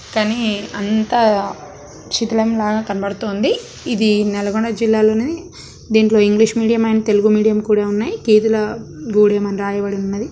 కానీ అంతా శిథిలం లాగా కనబడుతుంది ఇది నల్గొండ జిల్లాలోని దీంట్లో English medium and Telugu medium కూడా ఉన్నాయి కేతుల గూడెం అని రాయబడి ఉన్నది.